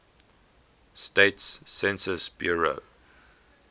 states census bureau